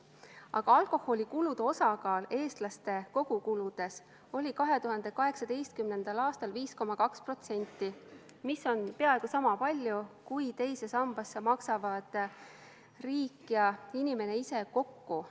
Aga alkoholikulude osakaal eestlaste kogukuludes oli 2018. aastal 5,2%, mis on peaaegu sama palju, kui teise sambasse maksavad riik ja inimene ise kokku.